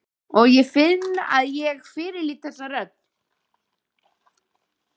Og ég finn að ég fyrirlít þessa rödd.